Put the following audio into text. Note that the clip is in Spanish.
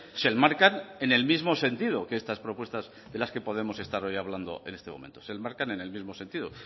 se enmarcan en el mismo sentido que estas propuestas de las que podemos estar hoy hablando en este momento se enmarcan en el mismo sentido